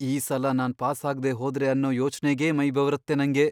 ಈ ಸಲ ನಾನ್ ಪಾಸ್ ಆಗ್ದೇ ಹೋದ್ರೆ ಅನ್ನೋ ಯೋಚ್ನೆಗೇ ಮೈ ಬೆವರತ್ತೆ ನಂಗೆ.